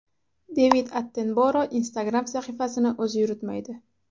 Devid Attenboro Instagram sahifasini o‘zi yuritmaydi.